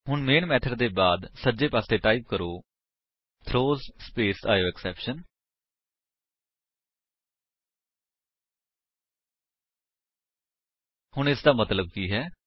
ਹੁਣ main method ਦੇ ਬਾਅਦ ਸੱਜੇ ਪਾਸੇ ਟਾਈਪ ਕਰੋ ਥਰੋਜ਼ ਸਪੇਸ ਆਇਓਐਕਸੈਪਸ਼ਨ ਹੁਣ ਇਸਦਾ ਮਤਲੱਬ ਕੀ ਹੈ